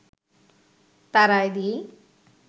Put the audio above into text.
তার আয় দিয়েই